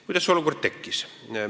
Kuidas see olukord tekkis?